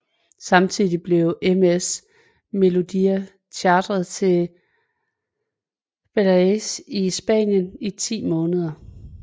Samtidig blev MS Meloodia chartret til Balearias i Spanien i ti måneder